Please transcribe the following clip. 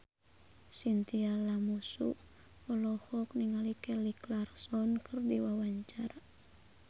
Chintya Lamusu olohok ningali Kelly Clarkson keur diwawancara